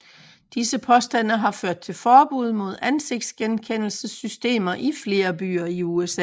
Disse påstande har ført til forbud mod ansigtsgenkendelsessystemer i flere byer i USA